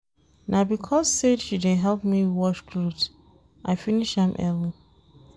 Na because sey she dey help me wash cloth I finish am early.